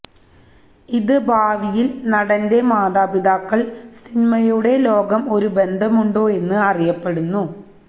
ഇത് ഭാവിയിൽ നടന്റെ മാതാപിതാക്കൾ സിനിമയുടെ ലോകം ഒരു ബന്ധമുണ്ടോ എന്ന് അറിയപ്പെടുന്നു